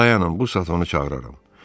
Dayanın, bu saat onu çağıraram.